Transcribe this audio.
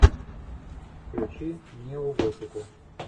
включи неоготику